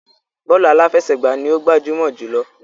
Bọ́ọ̀lù aláfẹsẹ̀gbá ni ó gbajúmọ̀ jùlọ.